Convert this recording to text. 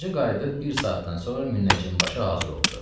Xacə qayıdıb bir saatdan sonra münnəcim başı hazır oldu.